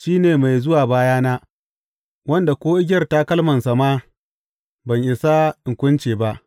Shi ne mai zuwa bayana, wanda ko igiyar takalmansa ma ban isa in kunce ba.